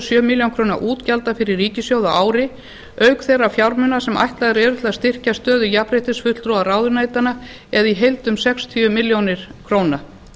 sjö milljónir króna útgjalda fyrir ríkissjóð á ári auk þeirra fjármuna sem ætlaðir eru til að styrkja stöðu jafnréttisfulltrúa ráðuneytanna eða í heild um sextíu milljónir króna